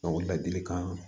ladilikan